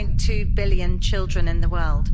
2.2 billion children in the world.